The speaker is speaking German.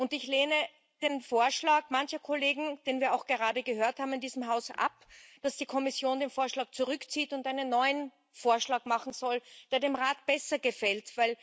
Ich lehne den Vorschlag mancher Kollegen, den wir auch gerade in diesem Haus gehört haben, ab, dass die Kommission den Vorschlag zurückzieht und einen neuen Vorschlag machen soll, der dem Rat besser gefällt.